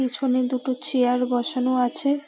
পিছনে দুটো চেয়ার বসানো আছে-এ ।